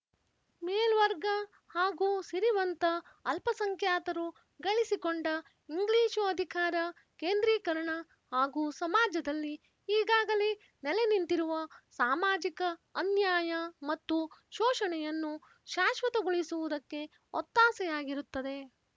ಮೇಲ್ವರ್ಗ ಹಾಗೂ ಸಿರಿವಂತ ಅಲ್ಪಸಂಖ್ಯಾತರು ಗಳಿಸಿಕೊಂಡ ಇಂಗ್ಲೀಷು ಅಧಿಕಾರ ಕೇಂದ್ರೀಕರಣ ಹಾಗೂ ಸಮಾಜದಲ್ಲಿ ಈಗಾಗಲೇ ನೆಲೆನಿಂತಿರುವ ಸಾಮಾಜಿಕ ಅನ್ಯಾಯ ಮತ್ತು ಶೋಶಣೆಯನ್ನು ಶಾಶ್ವತಗೊಳಿಸುವುದಕ್ಕೆ ಒತ್ತಾಸೆಯಾಗಿರುತ್ತದೆ